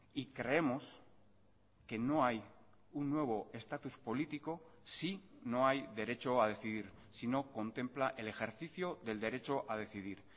y creemos que no hay un nuevo estatus político si no hay derecho a decidir si no contempla el ejercicio del derecho a decidir